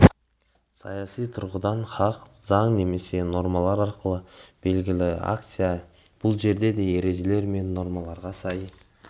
саяси тұрғыдан хақ заң немесе нормалар арқылы берілген акция бұл жерде де ережелер мен нормаларға сай